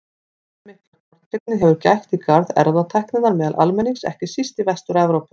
Allmikillar tortryggni hefur gætt í garð erfðatækninnar meðal almennings, ekki síst í Vestur-Evrópu.